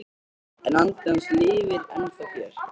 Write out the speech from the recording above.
En andi hans lifir ennþá hér